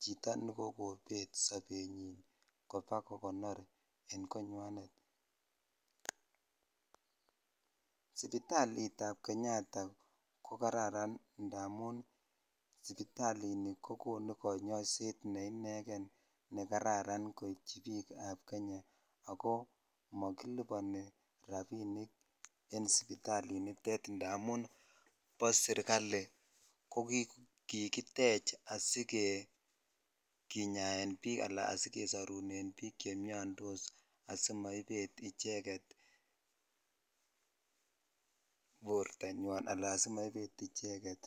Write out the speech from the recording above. chito nekokobet sobenyi kobakogonor en konywanet sipitalit ab kenyatta ko kararan indamun ko konu konyoishet ne ineken ne kararan koityi bik ab Kenya ako mokiliponi rabinik en sipitalinitet indamun bo serikali ko kikitech asikinyaen bik ala asikesorunen bik xhe miondos simaibet icheket bortanyo ala asimaibet.